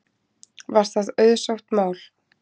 Var það auðsótt mál